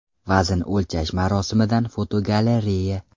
Vazn o‘lchash marosimidan fotogalereya.